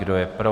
Kdo je pro?